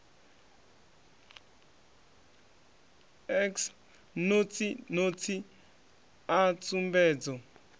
x notsi notsi a tsumbedzo